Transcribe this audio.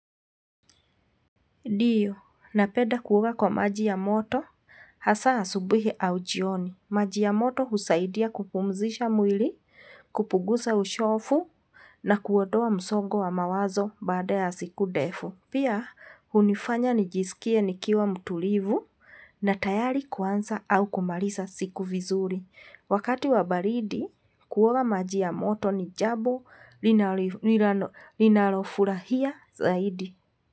Ndiyo napeda kuoga kwa maji ya moto hasa asubuhi au jioni maji ya moto husaidia kupumzisha mwili kupugusa uchovu na kuodoa msogo wa mawazo baada ya siku ndefu pia hunifanya nijisikie nikiwa mtulivu na tayali kuanza au kumaliza siku vizuri wakati wabaridi kuoga maji ya moto nijambo ninalofurahia zaidi.